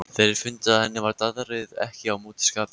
Þeir fundu að henni var daðrið ekki á móti skapi.